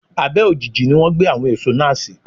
Abẹ́ ojiji ni wọ́n gbé àwọn èso náà sí.